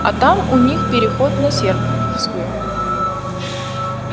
а там у них переход на серпуховскую